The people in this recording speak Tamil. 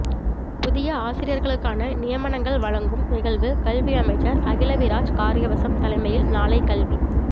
புதிய ஆசிரியர்களுக்கான நியமனங்கள் வழங்கும் நிகழ்வு கல்வியமைச்சர் அகிலவிராஜ் காரியவசம் தலைமையில் நாளை கல்வி